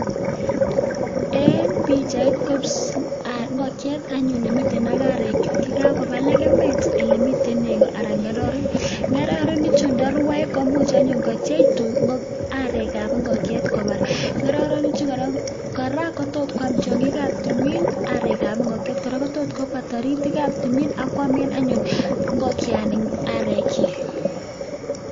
En bichait ko ingokiet anyun nemiten ak arek chik chekakoba legemet olemiten nego akomiten ngororik ak ingokenik chuton ntarwae komuch anyun kotiech arek ab ingokiet kobar ngororik Chu koraa kot kwam tiangik ab tumin arek ab ingokiet kobwa taritik ab tumin akwamen anyun ingokian arek chik